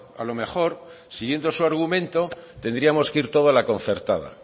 a lo mejor siguiendo su argumento tendríamos que ir todos a la concertada